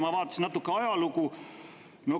Ma vaatasin natuke ajalugu.